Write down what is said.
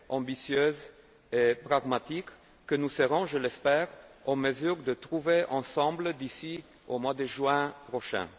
ambitieuse et pragmatique que nous serons je l'espère en mesure de trouver ensemble d'ici au mois de juin prochain.